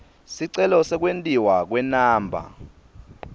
sicelo sekwentiwa kwenumber